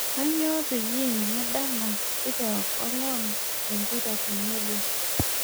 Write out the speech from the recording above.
Kanyoo peyie medala nkituak olewa empira tenebo